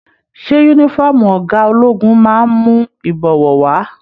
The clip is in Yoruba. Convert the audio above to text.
Ṣe yúnífọ̀ọ́mù ọgá ológun máa n mú ibọwọ wa?